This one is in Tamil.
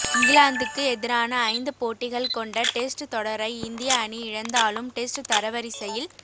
இங்கிலாந்துக்கு எதிரான ஐந்து போட்டிகள் கொண்ட டெஸ்ட் தொடரை இந்திய அணி இழந்தாலும டெஸ்ட் தரவரிசையில்